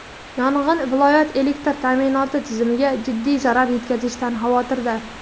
yong‘in viloyat elektr ta’minoti tizimiga jiddiy zarar yetishidan xavotirda.